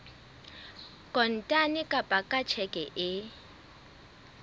kontane kapa ka tjheke e